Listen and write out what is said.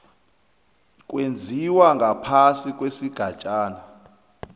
owenziwa ngaphasi kwesigatjana